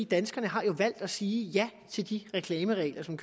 danskerne har valgt at sige ja til de reklameregler som